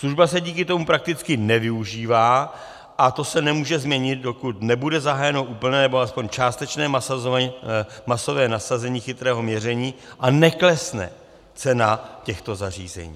Služba se díky tomu prakticky nevyužívá a to se nemůže změnit, dokud nebude zahájeno úplné nebo alespoň částečné masové nasazení chytrého měření a neklesne cena těchto zařízení.